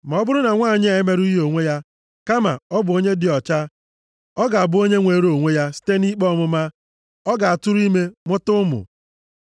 Ma ọ bụrụ na nwanyị emerụghị onwe ya, kama ọ bụ onye dị ọcha, ọ ga-abụ onye nwere onwe ya site nʼikpe ọmụma. Ọ ga-atụrụ ime mụta ụmụ.